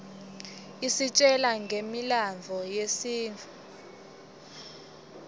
isitjela ngemlandvo yesintfu